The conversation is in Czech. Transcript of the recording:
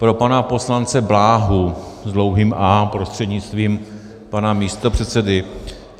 Pro pana poslance Bláhu s dlouhým "á" prostřednictvím pana místopředsedy.